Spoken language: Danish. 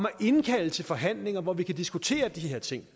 at indkalde til forhandlinger hvor vi kan diskutere de her ting